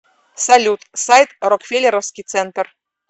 салют сайт рокфеллеровский центр